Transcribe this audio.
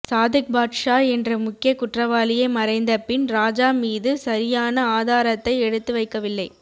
சாதிக்பாட்ஷா என்ற முக்கிய குற்றவாளியே மறைந்த பின் ராஜா மீது சரியான ஆதாரத்தை எடுத்து வைக்கவில்லை